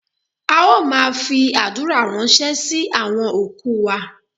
A ó maa fi adura ransẹ si awọn oku wa